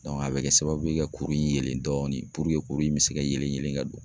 a bɛ kɛ sababu ye ka kuru in yelen dɔɔnin kuru in bi se ka yɛlɛ ka don